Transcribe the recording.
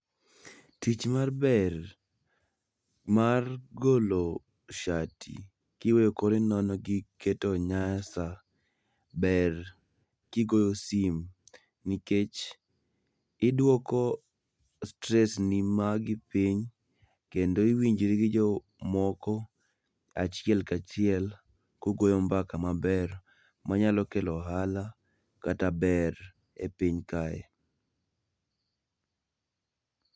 Tich mar ber mar golo shati kiweyo kori nono kiketo onyasa ber kigoyo simu nikech iduoko stress ni magi piny kendo iwinjri gi jomoko achiel kachiel kugoyo mbaka maber manyalo kelo ohala kata ber e piny kae